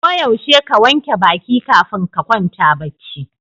Ko yaushe ka wanke baƙi kafin ka kwanta bacci.